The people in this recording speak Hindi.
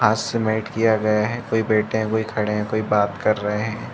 आज से मैठ किया गया है कोई बैठे है कोई खड़े है कोई बात कर रहे है।